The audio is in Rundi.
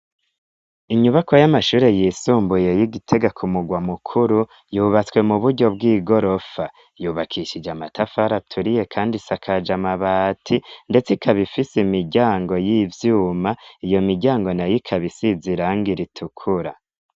Inyubako y'amashure yisumbuye y'igitega ku mugwa mukuru yubatswe mu buryo bw'i gorofa yubakishije amatafari aturiye, kandi sakaja amabati, ndetse ikabifise imiryango y'ivyuma iyo miryango na y'ikabisiziranga iritukura.